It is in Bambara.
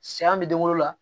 Siyɛn bɛ den wolo la